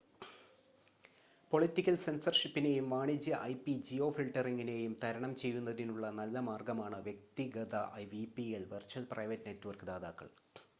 political സെൻസർഷിപ്പിനെയും വാണിജ്യ ഐപി-ജിയോഫിൽട്ടറിംഗിനെയും തരണം ചെയ്യുന്നതിനുള്ള നല്ല മാർഗമാണ് വ്യക്തിഗത വിപിഎൻ വെർച്വൽ പ്രൈവറ്റ് നെറ്റ്‌വർക്ക് ദാതാക്കൾ